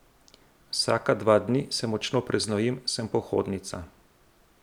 Vsaka dva dni se močno preznojim, sem pohodnica.